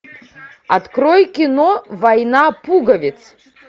открой кино война пуговиц